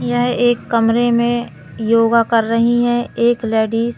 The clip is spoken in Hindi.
यह एक कमरे में योगा कर रही हैं एक लेडिस --